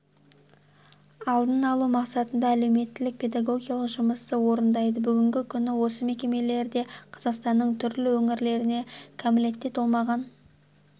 алдын алу мақсатында әлеуметтік-педагогикалық жұмысты орындайды бүгінгі күні осы мекемелерде қазақстанның түрлі өңірлерінен кәмелетке толмаған